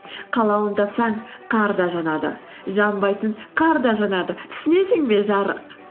қалауын тапсаң қар да жанады жанбайтын қар да жанады түсінесің бе жарық